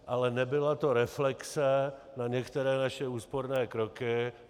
Ale nebyla to reflexe na některé naše úsporné kroky.